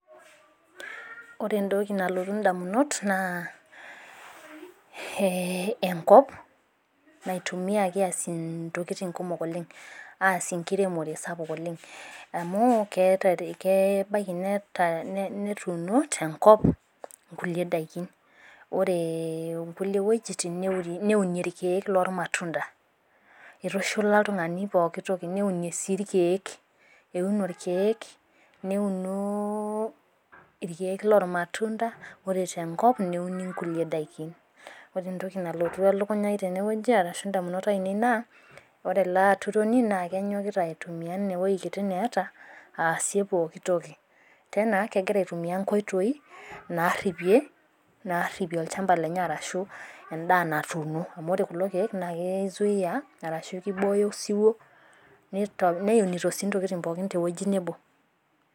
Ore entoki nalotu indamunot naa enkop naitumiyaki aasie intokitin kumok oleng', aasie enkiremore sapuk oleng'. Amu kebaiki netuuno tenkop inkulie daikin, ore inkulie wuejitin neunie ilkeek loolmatunda. Eitushula oltung'ani pooki toki, neunie sii ilkeek, euno ilkeek, loolmatunda, ore tenkop neuni inkulie daikin. Ore entoki nalotu elukunya aai tenewueji arashu indamunot ainei naa ore ele aturoni naa kenyokita aitumiya ine wueji kiti neata aasie pooki toki. Tena kegira aasishore inkoitoi naaripie olchamba lenye arashu endaa natuuno. Amu ore kulo keek naa keisuia arashu keibooyo osiwuo, neunito sii intokitin pookin te ewueji nabo.